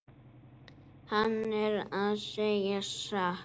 Hann er að segja satt.